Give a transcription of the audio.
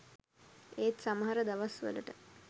ඒත් සමහර දවස්වලට